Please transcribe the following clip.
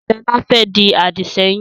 Sọlá fẹ́ di Àdìsẹ́yìn